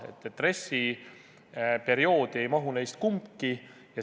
RES-i perioodi ei mahu neist kumbki.